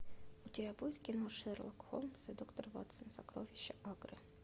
у тебя будет кино шерлок холмс и доктор ватсон сокровища агры